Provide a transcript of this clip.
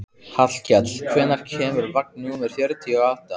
Hallkell, hvenær kemur vagn númer fjörutíu og átta?